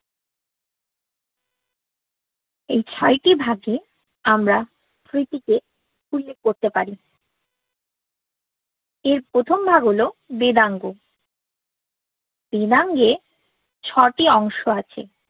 এই ছ্য়তি ভাগে আমরা স্মৃতিকে উল্লেখ কোর্তে পারি এর প্রথম ভাগ হল বেদাঙ্গ বেদাঙ্গএ ছ্য়তি অন্গ্স আছে